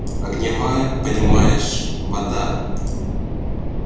огненная понимаешь вода